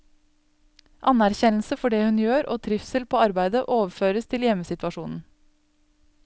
Anerkjennelse for det hun gjør og trivsel på arbeidet overføres til hjemmesituasjonen.